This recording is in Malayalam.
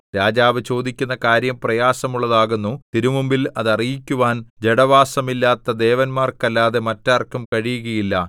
രാജാവ് ചോദിക്കുന്ന കാര്യം പ്രയാസമുള്ളതാകുന്നു തിരുമുമ്പിൽ അത് അറിയിക്കുവാൻ ജഡവാസമില്ലാത്ത ദേവന്മാർക്കല്ലാതെ മറ്റാർക്കും കഴിയുകയില്ല